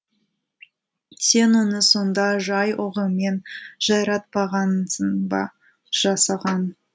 сен оны сонда жай оғымен жайратпағансың ба жасаған